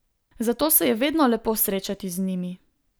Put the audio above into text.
Zato se je vedno lepo srečati z njimi.